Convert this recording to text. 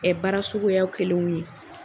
Ɛ baara suguya kɛlenw ye.